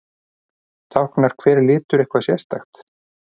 Táknar hver litur eitthvað sérstakt?